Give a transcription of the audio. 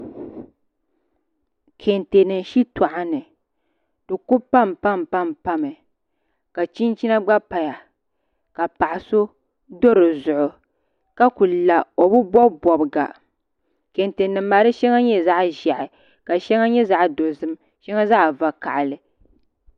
Kɛntɛ nim shitoɣu ni di ku panpami ka chinchina gba paya ka paɣa so do dizuɣu ka ku la o bi bob bobga kɛntɛ nim maa di shɛŋa nyɛla zaɣ ʒiɛhi ka shɛŋa nyɛ zaɣ dozim shɛŋa zaɣ vakaɣali